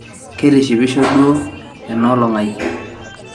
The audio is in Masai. keitishipisho duo ena olong aai